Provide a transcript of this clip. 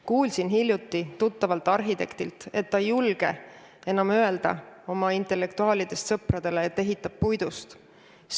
Kuulsin hiljuti tuttavalt arhitektilt, et ta ei julge enam öelda oma intellektuaalidest sõpradele, et ehitab puidust.